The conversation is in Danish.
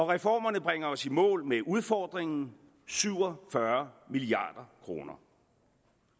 reformerne bringer os i mål med udfordringen syv og fyrre milliard kroner